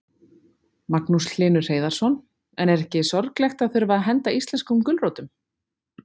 Magnús Hlynur Hreiðarsson: En er ekki sorglegt að þurfa að henda íslenskum gulrótum?